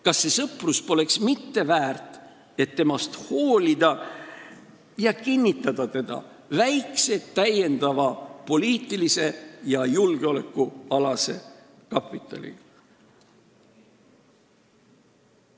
Kas see sõprus poleks mitte väärt, et temast hoolida ja kinnitada seda väikse täiendava poliitilise ja julgeolekualase kapitaliga?